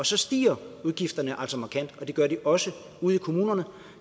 så stiger udgifterne altså markant og det gør de også ude i kommunerne